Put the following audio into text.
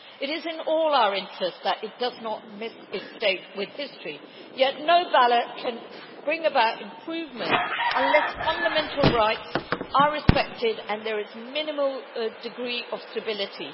It is in all our interests that it does not miss its date with history, yet no ballot can bring about improvement unless fundamental rights are respected and there is minimal degree of stability.